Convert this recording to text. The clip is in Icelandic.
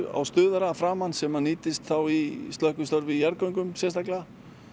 á stuðara að framan sem að nýtist þá í slökkvistarf í jarðgöngum sérstaklega